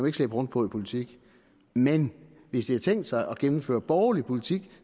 ikke slæbe rundt på i politik men hvis de har tænkt sig at gennemføre borgerlig politik